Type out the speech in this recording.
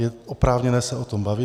Je oprávněné se o tom bavit.